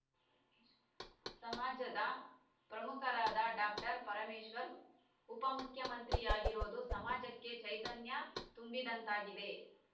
ಸಮಾಜದ ಪ್ರಮುಖರಾದ ಡಾಕ್ಟರ್ ಪರಮೇಶ್ವರ್‌ ಉಪಮುಖ್ಯಮಂತ್ರಿಯಾಗಿರುವುದು ಸಮಾಜಕ್ಕೆ ಚೈತನ್ಯ ತುಂಬಿದಂತಾಗಿದೆ